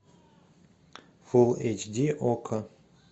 фул эйч ди окко